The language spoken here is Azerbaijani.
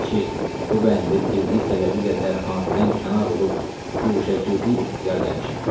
Əgərçi bu bəndə pirlik səbəbilə dərxanədən kənar olub guşəgirdi ixtiyar eləmişəm.